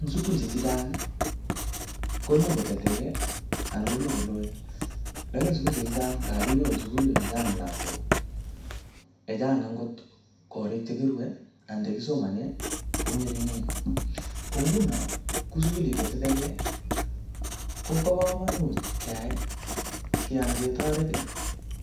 Eng sukulishek chechang, koimuch koteteke, anan koimuch kolone. Lakini sukulishek chechang, ngabinyoru sukulit ne chang lagok, ne chang angot korik che kirue anan che kisomane ko ngeringen. Ko nguno, kuu sukulishek che tetekey, kobo komonut keyai keyan ketoret